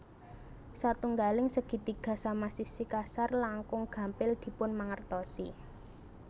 Satunggaling segitiga sama sisi kasar langkung gampil dipunmangertosi